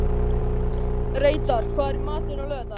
Reidar, hvað er í matinn á laugardaginn?